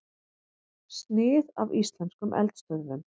Snið af íslenskum eldstöðvum.